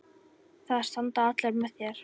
Það standa allir með þér.